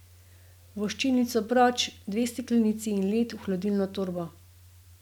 Voščilnico proč, dve steklenici in led v hladilno torbo.